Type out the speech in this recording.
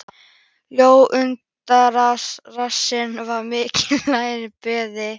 Lóa undraðist hvað rassinn var mikill og lærin breið.